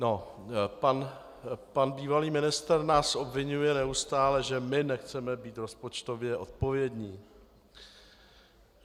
No, pan bývalý ministr nás obviňuje neustále, že my nechceme být rozpočtově odpovědní.